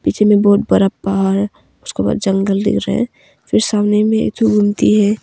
पीछे में बहुत बड़ा पहाड़ उसके बाद जंगल दिख रहा है फिर सामने में एक ठो गुमती है।